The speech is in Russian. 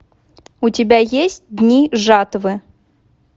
у тебя есть дни жатвы